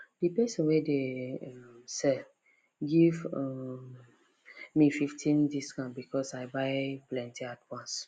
d person wey dey um sell give um me fifteen discount because i buy plenty at once